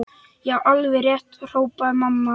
Já, alveg rétt hrópaði mamma.